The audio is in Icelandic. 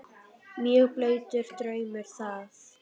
Mjög blautur draumur það.